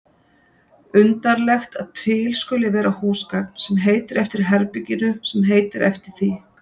Undarlegt að til skuli vera húsgagn sem heitir eftir herberginu sem heitir eftir því.